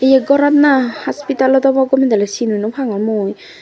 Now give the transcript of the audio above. yot gorot na hospital lot obo gome daley sin o naw pangor mui.